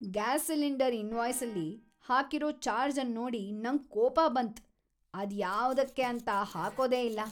Gas cylinder ಇನ್ವಾಯ್ಸ್ನಲ್ಲಿ ಹಾಕಿರೋ charge ಅನ್ನೋಡಿ ನಂಗ್ ಕೋಪ ಬಂತ್ ಅದು ಯಾವುದಕ್ಕೆ ಅಂತ ಹಾಕೋದೇ ಇಲ್ಲ.